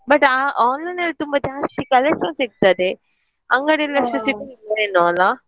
But ಆ online ಅಲ್ಲಿ ತುಂಬಾ ಜಾಸ್ತಿ collections ಸಿಗ್ತದೆ ಅಂಗಡಿಯಲ್ಲಿ ಅಷ್ಟು ಸಿಗುದಿಲ್ಲ ಏನೋ ಅಲ್ಲ.